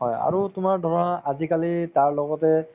হয়, আৰু তোমাৰ ধৰা আজিকালি তাৰ লগতে